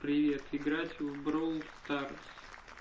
привет играть в бровл старс